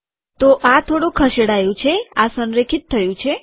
તો આ ખસેડાયું છે આ સંરેખિત થયું છે